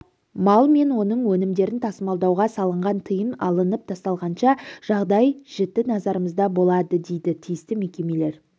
мал мен оның өнімдерін тасымалдауға салынған тыйым алынып тасталғанша жағдай жіті назарымызда болады дейді тиісті мекемелер